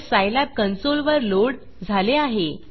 हे सायलॅब कन्सोलवर लोड झाले आहे